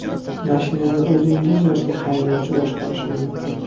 Mashinani o‘zingiz yoki haydovchi boshqarishi mumkin.